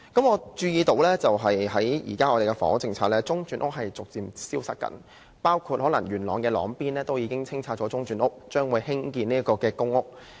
我注意到，在現行房屋政策中，中轉房屋正在逐漸消失，包括位於元朗的朗邊中轉房屋可能已被清拆，土地將會用來興建公屋。